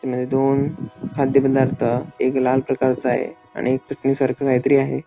त्यामध्ये दोन खाद्य पदार्थ एक लहान प्रकारचा आहे आणि एक चटणी सारख काहीतरी आहे.